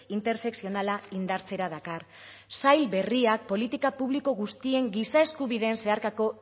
intersekzionala indartzera dakar sail berriak politika publiko guztien giza eskubideen zeharkako